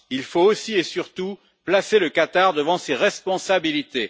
Il faut aussi et surtout placer le Qatar devant ses responsabilités.